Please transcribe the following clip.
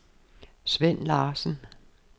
Svend Larsen